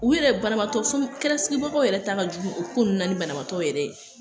U yɛrɛ banabaatɔ so kɛrɛsigibagaw yɛrɛ ta ka jugu u ko nunnu na, ni banabaatɔ yɛrɛ ye